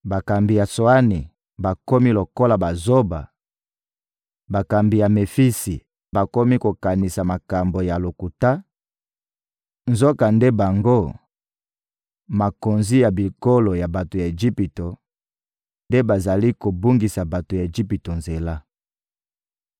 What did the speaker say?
Bakambi ya Tsoani bakomi lokola bazoba, bakambi ya Mefisi bakomi kokanisa makambo ya lokuta; nzokande bango, makonzi ya bikolo ya bato ya Ejipito, nde bazali kobungisa bato ya Ejipito nzela.